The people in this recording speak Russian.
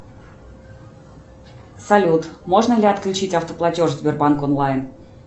салют можно ли отключить автоплатеж сбербанк онлайн